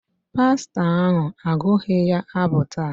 Mba, pastọ ahụ agụghị ya abụ taa.